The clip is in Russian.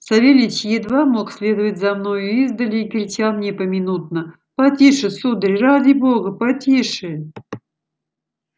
савельич едва мог следовать за мною издали и кричал мне поминутно потише сударь ради бога потише